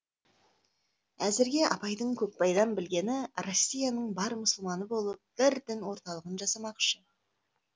әзірге абайдың көкбайдан білгені россияның бар мұсылманы болып бір дін орталығын жасамақшы